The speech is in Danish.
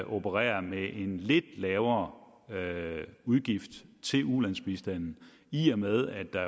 operere med en lidt lavere udgift til ulandsbistanden i og med at der